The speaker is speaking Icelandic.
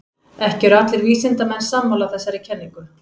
Ekki eru allir vísindamenn sammála þessari kenningu.